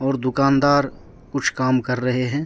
और दुकानदार कुछ काम कर रहे हैं।